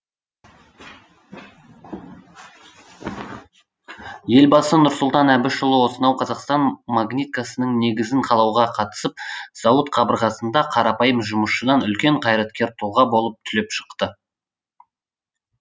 елбасы нұрсұлтан әбішұлы осынау қазақстан магниткасының негізін қалауға қатысып зауыт қабырғасында қарапайым жұмысшыдан үлкен қайраткер тұлға болып түлеп шықты